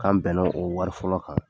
K'an bɛnna o wari fɔlɔ kan.